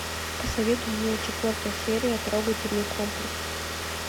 посоветуй мне четвертая серия трогательный комплекс